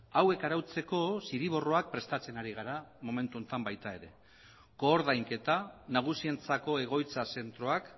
hauek arautzeko zirriborroak prestatzen ari gara momentu honetan baita ere koordainketa nagusientzako egoitza zentroak